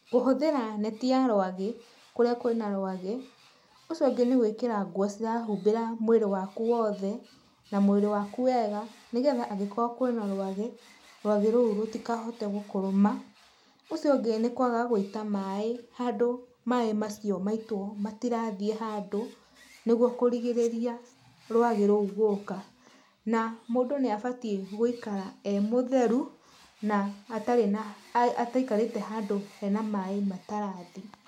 Kũhũthĩra neti ya rwagĩ kũrĩa kwĩna rwagĩ, ũcio ũngĩ nĩ gwĩkĩra nguo cirahumbĩra mwĩrĩ waku wothe na mwĩrĩ waku wega nĩ getha angĩkorwo kwĩna rwagĩ, rwagĩ rũu rũtikahote gũkũrũma. Ũcio ũngĩ nĩ kwaga gũita maĩ handũ maĩ macio maitwo matirathiĩ handũ nĩguo kũrigĩrĩria rwagĩ rũu gũka na mũndũ nĩ abatiĩ gũikara ee mũtheru na atarĩ na ataikarĩte handũ hena maĩ matarathi.